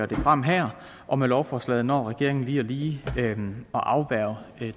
det frem her og med lovforslaget når regeringen lige lige at afværge